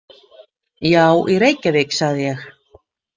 Já, í Reykjavík, sagði ég.